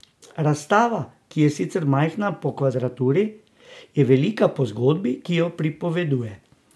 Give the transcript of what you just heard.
Razstava, ki je sicer majhna po kvadraturi, je velika po zgodbi, ki jo pripoveduje.